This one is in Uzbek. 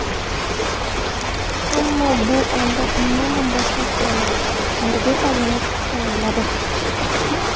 Ammo bu endi umuman boshqa hikoya... Nurbek Alimov tayyorladi.